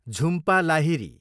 Jhumpa Lahiri